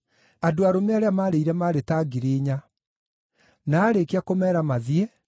Andũ arũme arĩa maarĩire maarĩ ta ngiri inya. Na aarĩkia kũmeera mathiĩ,